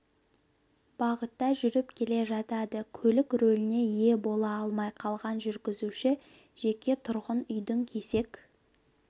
бағытта жүріп келе жатады көлік рөліне ие бола алмай қалған жүргізуші жеке тұрғын үйдің кесек